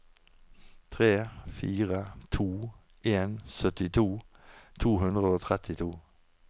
tre fire to en syttito to hundre og trettito